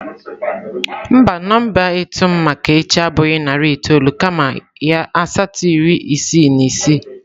Mba, nọmba ịtụ m maka echi abụghị narị itoolu kama ya asatọ iri isii na isii